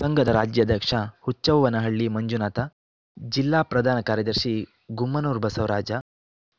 ಸಂಘದ ರಾಜ್ಯಾಧ್ಯಕ್ಷ ಹುಚ್ಚವ್ವನಹಳ್ಳಿ ಮಂಜುನಾಥ ಜಿಲ್ಲಾ ಪ್ರಧಾನ ಕಾರ್ಯದರ್ಶಿ ಗುಮ್ಮನೂರು ಬಸವರಾಜ